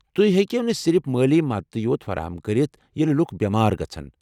تُہۍ ہیٚکو نہٕ صرف مٲلی مدتھٕے یوٚت فراہم کٔرتھ ییٚلہ لُکھ بیمار گژھن ۔